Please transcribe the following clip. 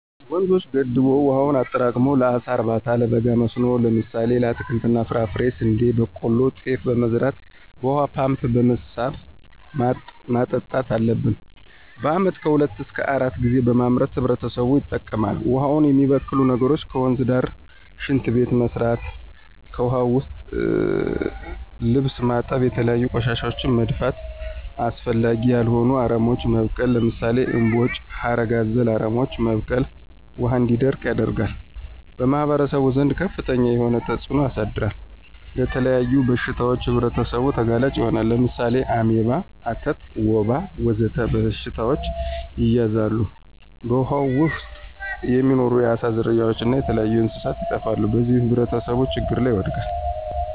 ወንዞችን ገድቦ ዉሀውን አጠራቅሞ ለአሳ እርባታ፣ ለበጋ መስኖዎች ለምሳሌ ለአትክልት እና ፍራፍሬ፣ ስንዴ፣ በቆሎ፣ ጤፍ በመዝራት በውሃ ፓምፕ በመሳብ ማጠጣት አለብን። በአመት ከሁለት እሰከ አራት ጊዜ በማምረት ህብረተሰቡ ይጠቀማል። ውሃውን የሚበክሉ ነገሮች ከወንዝ ዳር ሽንት ቤት መስራት። ከዉሀ ዉስጥ ልብስ ማጠብ፣ የተለያዩ ቆሻሻወችን መድፋት፣ አስፈላጊ ያልሆኑ አረሞች መብቀል ለምሳሌ እምቦጭ፣ ሀረግ አዘል አረሞች መብቀል ውሀው እንዲደርቅ ያደርጋል። በማህበረሰቡ ዘንድ ከፍተኛ የሆነ ተፅእኖ ያሳድራል። ለተለያዩ በሽታዎች ህብረተሰቡ ተጋላጭ ይሆናሉ። ለምሳሌ አሜባ፣ አተት፣ ወባ ወዘተ በሽታዎች ይያዛሉ። በውሃው ዉስጥ የሚኖሩ የአሳ ዝርያዎች እና የተለያዩ እንስሳት ይጠፋሉ። በዚህም ህብረተሰቡ ችግር ላይ ይወድቃል።